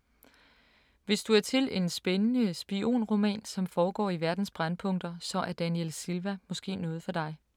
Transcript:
Hvis du er til en spændende spionroman, som foregår i verdens brændpunkter, så er Daniel Silva måske noget for dig.